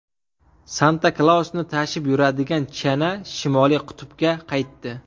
Santa-Klausni tashib yuradigan chana Shimoliy qutbga qaytdi.